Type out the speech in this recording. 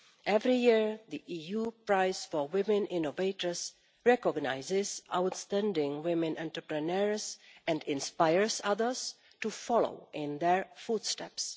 Every year, the EU prize for women innovators recognises outstanding women entrepreneurs and inspires others to follow in their footsteps.